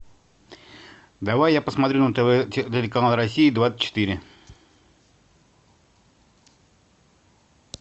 давай я посмотрю на тв телеканал россия двадцать четыре